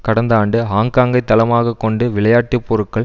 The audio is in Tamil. கடந்த ஆண்டு ஹாங்காங்கை தளமாக கொண்டு விளையாட்டு பொருட்கள்